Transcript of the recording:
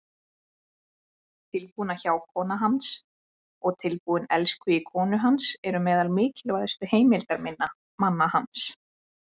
Tilbúna hjákonan hans og tilbúni elskhugi konu hans eru meðal mikilvægustu heimildarmanna hans.